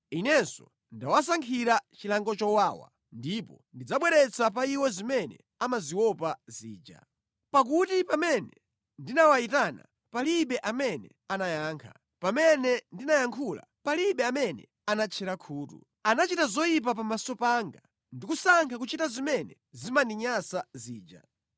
Inenso ndawasankhira chilango chowawa ndipo ndidzabweretsa pa iwo zimene amaziopa zija. Pakuti pamene ndinawayitana palibe amene anayankha, pamene ndinayankhula palibe amene anatchera khutu. Anachita zoyipa pamaso panga ndi kusankha kuchita zimene zimandinyansa zija.”